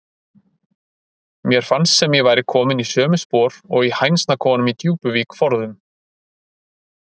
Mér fannst sem ég væri komin í sömu spor og í hænsnakofanum í Djúpuvík forðum.